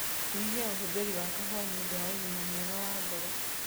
Nyihia ũhũthĩri wa kahua nĩũndũ wa ũgima mwega wa ngoro